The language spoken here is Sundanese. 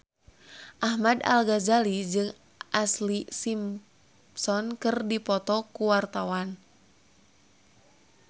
Ahmad Al-Ghazali jeung Ashlee Simpson keur dipoto ku wartawan